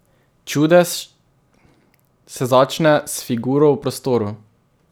Čudež se začne s figuro v prostoru.